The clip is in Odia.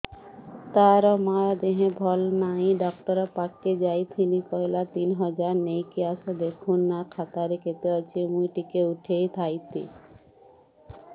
ତାର ମାର ଦେହେ ଭଲ ନାଇଁ ଡାକ୍ତର ପଖକେ ଯାଈଥିନି କହିଲା ତିନ ହଜାର ନେଇକି ଆସ ଦେଖୁନ ନା ଖାତାରେ କେତେ ଅଛି ମୁଇଁ ଟିକେ ଉଠେଇ ଥାଇତି